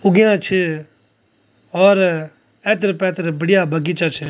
उग्याँ छ और एथर-पैथर बढ़िया बगीचा छ।